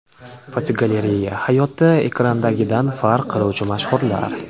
Fotogalereya: Hayotda ekrandagidan farq qiluvchi mashhurlar.